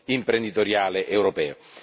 imprenditoriale europeo.